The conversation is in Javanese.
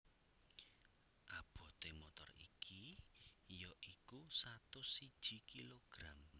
Abote motor iki ya iku satus siji kilogram